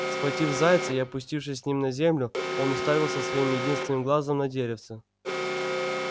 схватив зайца и опустившись с ним на землю он уставился своим единственным глазом на деревце